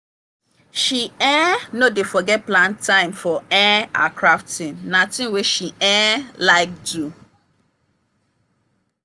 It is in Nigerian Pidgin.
she um no dey forget plan time for um her crafting na thing wey she um like do.